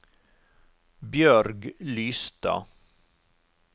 Bjørg Lystad